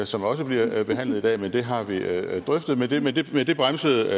som også bliver behandlet i dag den har vi drøftet men det men det bremsede